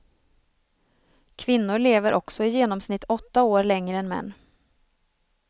Kvinnor lever också i genomsnitt åtta år längre än män.